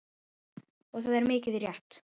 Og það er mikið rétt.